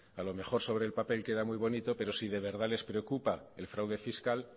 a lo mejor sobre el papel queda muy bonito pero si de verdad les preocupa el fraude fiscal